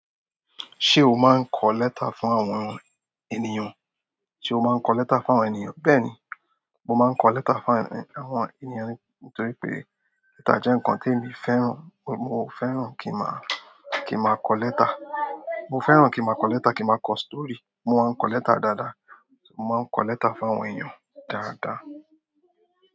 Ṣé o máa ń kọ lẹ́tà fún àwọn ènìyàn? Ṣé o máa ń kọ lẹ́tà fún àwọn ènìyàn? Bẹ́ẹ̀ni, mo máa ń kọ lẹ́tà fún àwọn ènìyàn mi nítorí pé lẹ́tà jeẹ́ nǹkan tí èmi fẹ́ràn. Mo fẹ́ràn kí a máa, kí a máa kọ lẹ́tà. Mo fẹ́ràn kí a máa kọ lẹ́tà, kí a máa kọ stòòrí. Mo máa ń kọ lẹ́tà dáadáa. Mo máa ń kọ lẹ́tà fún àwọn ènìyàn dáadáa.